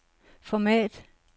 format